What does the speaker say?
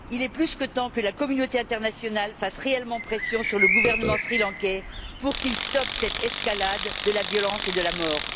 Il est plus que temps que la communauté internationale fasse réellement pression sur le gouvernement sri lankais pour qu'il stoppe cette escalade de la violence et de la mort.